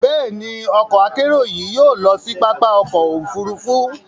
Bẹ́ẹ̀ni, ọkọ-akerò yìí yóò lọ sí pápá ọkọ̀ òfurufú